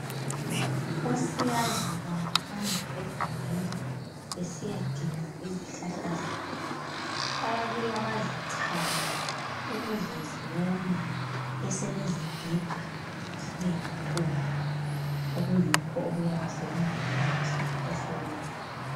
Osiyazi bangahamba egangeni besiyadinga izihlahla zabo. Bayabuya bazichaye, ukuze ziwome. Basebezigiga zibe yimpuphu. Yikho okuyabe sekungumuthi osebenzayo.